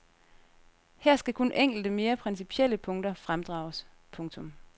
Her skal kun enkelte mere principielle punkter fremdrages. punktum